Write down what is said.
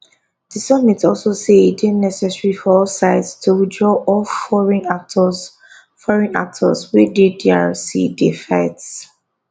di summit also say e dey necessary for all sides to withdraw all foreign actors foreign actors wey dey drc dey fight